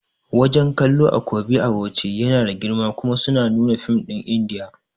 Wajan kallo a Kobi a Bauchi yana da girma kuma suna nuna fim ɗin indiya